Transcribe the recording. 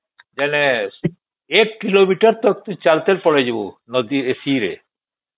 ଯେଣେ ଏକ କିଲୋମେଟର ତକ ତୁ ଚାଲି ଚାଲି ପଳେଇବୁ ନଦୀ ଏ ଶିରେ